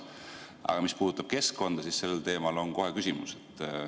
Aga mis puudutab keskkonda, siis selle teema puhul on kohe küsimus.